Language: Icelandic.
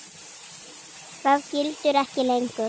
Það gildir ekki lengur.